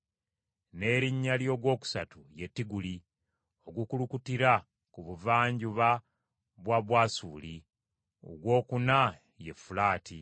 N’erinnya ly’ogwokusatu ye Tigiriisi ogukulukutira ku buvanjuba bwa Bwasuli. Ogwokuna ye Fulaati.